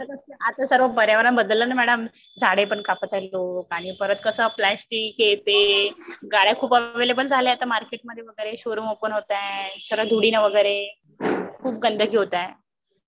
आता सर्व पर्यावरण बदललं ना मॅडम झाडे पण कापत आहेत लोक आणि परत कस प्लास्टिक हे ते गाड्या खूप अव्हेलेबल झाल्या आता मार्केट मध्ये वगैरे. शोरूम ओपन होत आहे. सगळं धुडीं वगैरे खूप गंधांगी होत आहे.